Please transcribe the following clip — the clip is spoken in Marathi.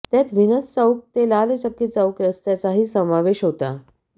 त्यात व्हिनस चौक ते लालचक्की चौक रस्त्याचाही समावेश होता